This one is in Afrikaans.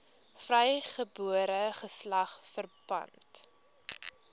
vrygebore geslag verpand